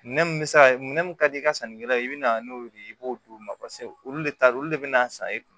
Minɛ mun bɛ se ka minɛ minɛ mun ka di i ka sannikɛlaw ye i bɛna n'o ye i b'o d'u ma olu de ta don olu de bɛna san i kun